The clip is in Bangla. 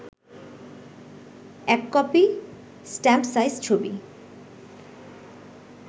১ কপি স্ট্যাম্প সাইজ ছবি